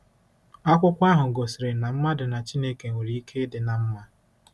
Akwụkwọ ahụ gosiri na mmadụ na Chineke nwere ike ịdị ná mma.